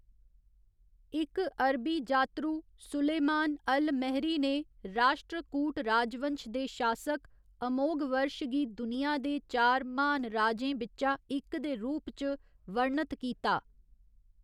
इक अरबी जातरू सुलेमान अल महरी ने राश्ट्र कूट राजवंश दे शासक अमोघवर्ष गी दुनिया दे चार महान राजें बिच्चा इक दे रूप च वर्णत कीता।